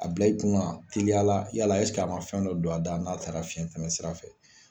A bila i kun na, teliyala yala a ma fɛn dɔ don a da n'a taara fiɲɛ tɛmɛ sira fɛ.